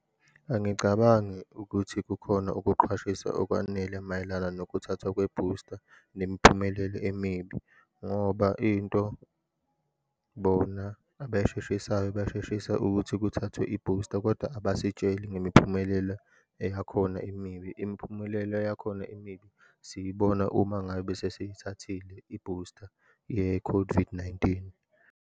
Angicabangi ukuthi kukhona ukuqwashisa okwanele mayelana nokuthathwa kwebhusta, nemiphumelelo emibi, ngoba into bona abayisheshisayo, basheshisa ukuthi kuthathwe ibhusta, kodwa abasitsheli ngempumelela eyakhona emibi. Imiphumelela eyakhona emibi, siyibona uma ngabe sesiyithathile ibhusta ye-COVID-19.